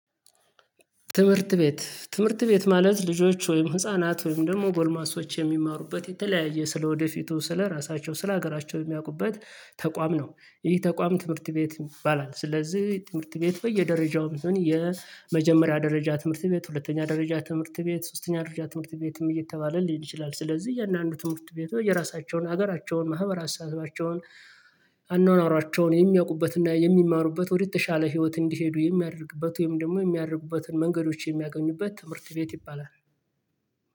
ትምህርት ቤት ትምህርት ቤት ማለት ልጆች ወይም ህፃናት ወይም ደግሞ ጎልማሶች የሚማሩበት የተለያየ ስለወደፊቱ ስለራሳቸው ስለሀገራቸው የሚያውቁበት ተቋም ነው። ይሄ ተቋም ትምህርት ቤት ይባላል ስለዚህ ትምህርት ቤት በየደረጃው የመጀመሪያ ደረጃ ትምህርት ቤት ሁለተኛ ደረጃ ትምህርት ቤት ሶስተኛ ደረጃ ትምህርት ቤትም እየተባለ ሊል ይችላል። ስለዚህ የእያንዳንዱ ትምህርት ቤት የራሳቸውን ሀገራቸውን ማህበራሰባቸዉን አኗኗራቸውን የሚያውቁበትና የሚማሩበት ወደተሻለ ህይወት እንዲሄዱ የሚያደርግበት ወይም ደግሞ የሚያደርጉበትን መንገዶች የሚያገኙበት ትምህርት ቤት ይባላል።